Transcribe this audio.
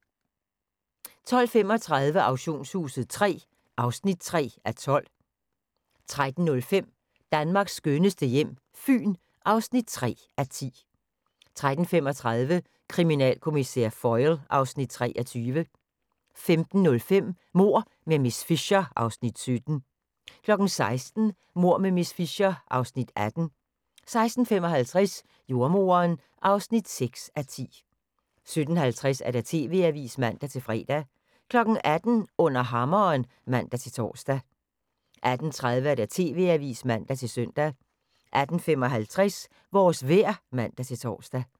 12:35: Auktionshuset III (3:12) 13:05: Danmarks skønneste hjem - Fyn (3:10) 13:35: Kriminalkommissær Foyle (Afs. 23) 15:05: Mord med miss Fisher (Afs. 17) 16:00: Mord med miss Fisher (Afs. 18) 16:55: Jordemoderen (6:10) 17:50: TV-avisen (man-fre) 18:00: Under hammeren (man-tor) 18:30: TV-avisen (man-søn) 18:55: Vores vejr (man-tor)